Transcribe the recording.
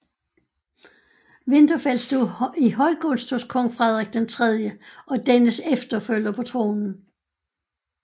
Winterfeld stod i høj gunst hos kong Frederik III og dennes efterfølger på tronen